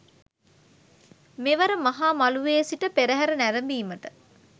මෙවර මහ මළුවේ සිට පෙරහර නැරඹීමට